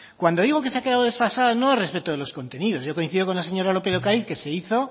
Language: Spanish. cuando digo que se ha quedado desfasada no es respecto a los contenidos yo coincido con la señora lópez de ocariz que se hizo